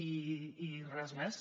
i res més